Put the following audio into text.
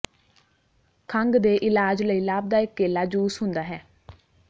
ਖੰਘ ਦੇ ਇਲਾਜ ਲਈ ਲਾਭਦਾਇਕ ਕੇਲਾ ਜੂਸ ਹੁੰਦਾ ਹੈ